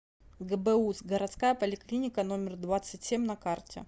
гбуз городская поликлиника номер двадцать семь на карте